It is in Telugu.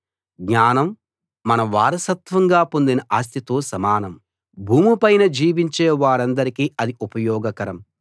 జ్ఞానం మనం వారసత్వంగా పొందిన ఆస్తితో సమానం భూమి పైన జీవించే వారందరికీ అది ఉపయోగకరం